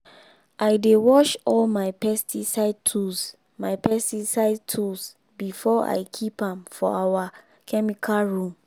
i dey wash all my pesticide tools my pesticide tools before i keep am for our chemical room.